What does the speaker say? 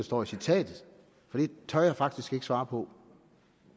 står i citatet for det tør jeg faktisk ikke svare på